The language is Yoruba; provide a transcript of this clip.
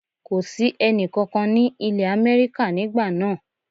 Kò sí ẹni kankan ní ìlé Amẹ́ríkà nígbà náà